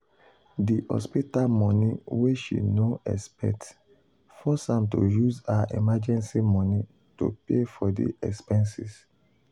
the hospital money wey she no expect force am to use her emergency money to pay for de expenses.